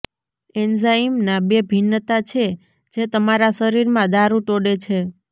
એન્ઝાઇમના બે ભિન્નતા છે જે તમારા શરીરમાં દારૂ તોડે છે